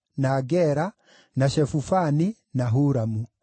na Gera, na Shefufani, na Huramu.